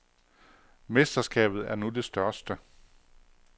Mesterskabet er nu det største.